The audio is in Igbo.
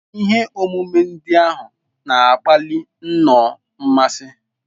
Ihe omume ndị ahụ na-akpali nnọọ mmasị.